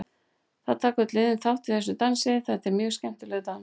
Það taka öll liðin þátt í þessum dansi, þetta er mjög skemmtilegur dans.